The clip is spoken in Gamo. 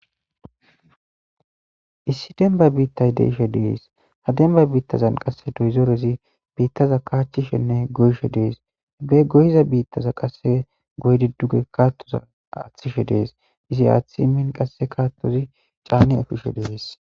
issi demba biittay deishe dees hademba biittazan qasse doyzoorezi biittaza kaachchishenne goyshe dees ebe goyiza biittaza qasse goy didduge kaattoza aaththishe dees izi aaththi imin qasse kaattozi caani ofishe dees.